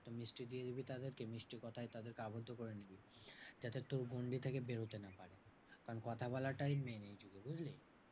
একটা মিষ্টি দিয়ে দিবি তাদের কে মিষ্টি কোথায় তাদের কে আবদ্ধ করে নিবি। যাতে তোর গন্ডি থেকে বেরোতে না পারে। কারণ কথা বলাটাই main বুঝলি?